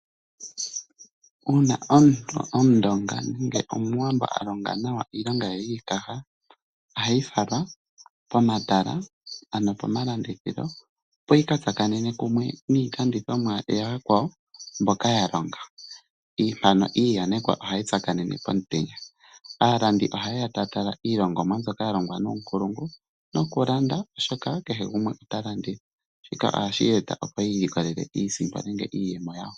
Uuna omundonga nenge omuwambo a longa nawa iilonga ye yiikaha , ohayi fala pomatala ano pomalandithilo opo yi ka thakanene kumwe niilandithomwa ya yakwawo mboka ya longa . Mpano iiyanekwa ohayi tsakanene pomutenya . Aalandi oha yeya taya tala iilongomwa mbyoka ya longwa nuunkulungu noku landa shoka kehe gumwe ta landa. Shika ohashi eta opo kehe gumwe i ilokolele iisimpo nenge iiyemo yawo.